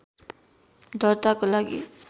दर्ताको लागि